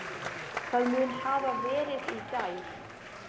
Það mun hafa verið í gær.